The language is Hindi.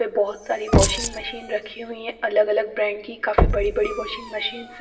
पे बहुत सारी वॉशिंग मशीन रखी हुई है अलग-अलग ब्रांड की काफी बड़ी-बड़ी वॉशिंग मशीन्स है।